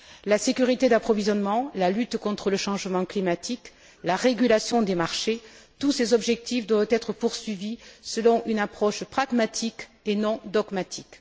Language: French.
La sécurité de l'approvisionnement, la lutte contre le changement climatique, la régulation des marchés, tous ces objectifs devraient être poursuivis selon une approche pragmatique et non dogmatique.